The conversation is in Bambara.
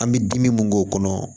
An bɛ dimi mun k'o kɔnɔ